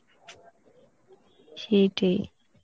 সেটাই